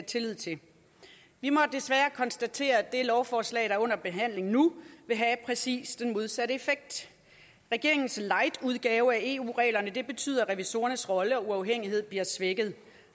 tillid til vi må desværre konstatere at det lovforslag der er under behandling nu vil have præcis den modsatte effekt regeringens lightudgave af eu reglerne betyder at revisorernes rolle og uafhængighed bliver svækket